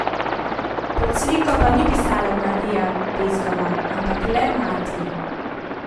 Pod sliko pa ni pisalo Marija Bezgova, ampak le Mati.